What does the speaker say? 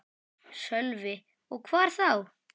Sölvi: Og hvar þá?